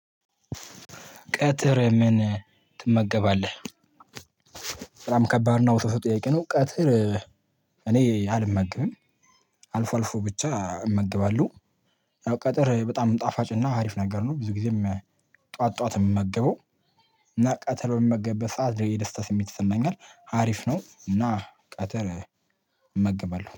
ቀትር ምን ትመገባለህ? በጣም ከባድ ነው ጥሩ ጥያቄ ነው። ቀጥር እኔ አልመገብም አልፎ አልፎ ብቻ እመገባለሁ። ያው ቀጥር በጣም ጣፋጭ አሪፍ ነገር ነው ብዙ ጊዜም ጧት ጧት ነው የምመገበው። እና ቀትር በምመገብበት ሰዓት ልዩ ደስታ ስሜት ይሰማኛል አሪፍ ነው እና ቀትር እመገባለሁ